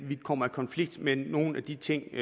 vi kommer i konflikt med nogle af de ting